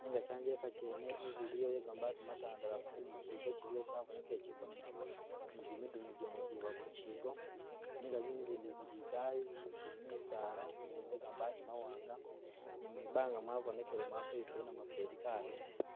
nenga kyanjelika kyene inzu ilo yegamabati matandalafu ni ikyigo kyiliyo kyabonekeleye kyiliko ni jimidu gene giba kukyiko nenga zinzu izindi zili idayi zili mubisala zinzu zene ze’gamabati mawanga ni mwibanga mwabonekele mwakweyukile namufeli kalimo daa.